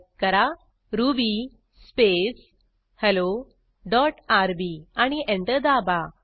type करा Ruby space hello dot RB आणि enter दाबा